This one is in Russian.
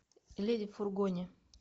леди в фургоне